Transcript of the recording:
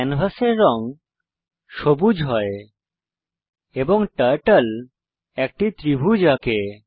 ক্যানভাসের রং সবুজ হয় এবং টার্টল একটি ত্রিভুজ আঁকে